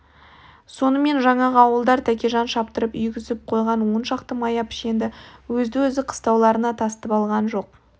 сонымен жаңағы ауылдар тәкежан шаптырып үйгізіп қойған он шақты мая пішенді өзді-өзі қыстауларына тасытып алған